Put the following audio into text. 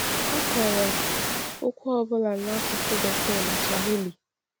A kọrọ okwu ọ bụla n’asụsụ Bekee na Swahili.